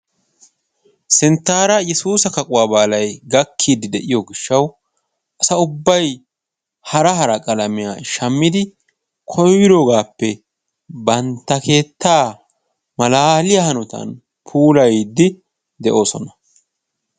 Sinttaara yesuusa kaquwa baalay gakkiiddi de'iyo gishshawu asa ubbay hara hara qalamiya shammidi koyroogaappe bantta keettaa malaaliya hanotan puulayiiddi de'oosona.